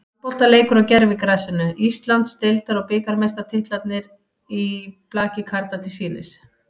Handboltaleikur á gervigrasinu, Íslands- deildar og bikarmeistaratitlarnir í blaki karla til sýnis.